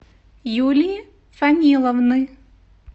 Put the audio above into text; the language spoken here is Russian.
юлии фаниловны